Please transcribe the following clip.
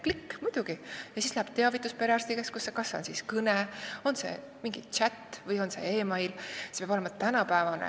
" Klõpsan "muidugi" ja siis läheb teavitus perearstikeskusesse, on see siis kõne, mingi chat või e-mail, see peab olema tänapäevane.